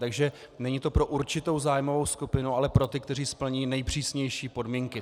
Takže není to pro určitou zájmovou skupinu, ale pro ty, kteří splní nejpřísnější podmínky.